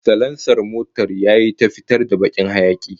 Salansar motar yayi ta fitar da wani bakin hayaki